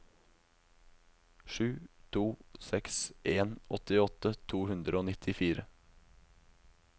sju to seks en åttiåtte to hundre og nittifire